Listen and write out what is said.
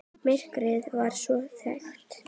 Myrkrið var svo þykkt.